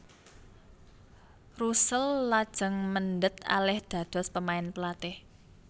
Russell lajeng mendhet alih dados pemain pelatih